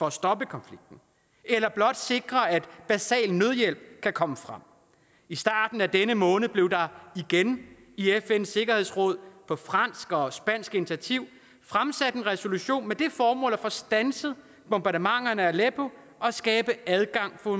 at stoppe konflikten eller blot at sikre at basal nødhjælp kan komme frem i starten af denne måned blev der igen i fns sikkerhedsråd på fransk og spansk initiativ fremsat en resolution med det formål at få standset bombardementerne af aleppo og skabe adgang for